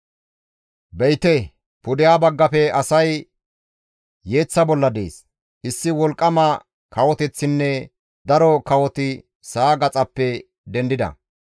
«Be7ite! Pudeha baggafe asay yeeththa bolla dees; issi wolqqama kawoteththinne daro kawoti sa7a gaxappe dendida.